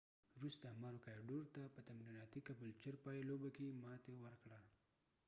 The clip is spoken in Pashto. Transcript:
مارو کایډورmaroochudore وروسته کبولچر caboolture ته په تمریناتی پای لوبه کې ماتی ورکړه